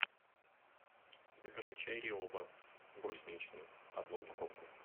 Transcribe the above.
закажи чай риоба брусничный одну упаковку